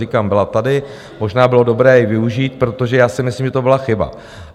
Říkám, byla tady, možná bylo dobré ji využít, protože já si myslím, že to byla chyba.